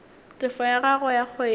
tefo ya gagwe ya kgwedi